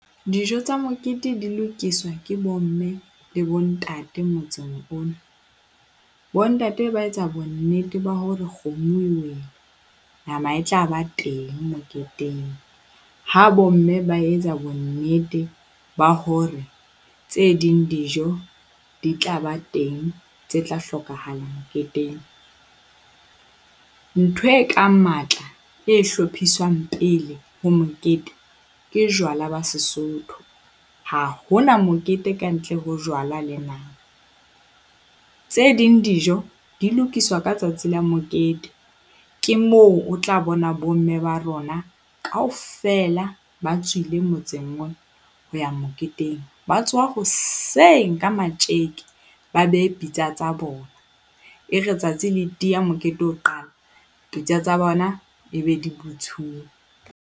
Dijo tsa mokete di lokiswa ke bomme le bontate motseng ono. Bontate ba etsa bonnete ba hore kgomo e wele, nama e tla ba teng moketeng. Ha bomme ba etsa bonnete ba hore tse ding dijo di tla ba teng tse tla hlokahala moketeng. Ntho ekang matla e hlophiswang pele ho mokete ke jwala ba Sesotho. Ha ho na mokete kantle ho jwala le nama. Tse ding dijo di lokiswa ka tsatsi la mokete, ke moo o tla bona bomme ba rona kaofela, ba tswile motseng ona ho ya moketeng. Ba tsoha hoseng ka matjeke ba behe pitsa tsa bona. E re tsatsi le tiya, mokete o qala, pitsa tsa bona e be di butsuwe.